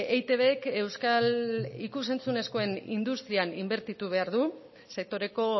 eitbk euskal ikus entzunezkoen industrian inbertitu behar du sektoreko